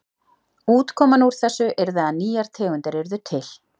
Útkoman úr þessu yrði að nýjar tegundir yrðu til.